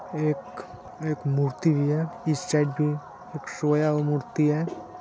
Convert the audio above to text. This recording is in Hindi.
एक एक मूर्ति भी है। इस साइड पे एक सोया मूर्ति है।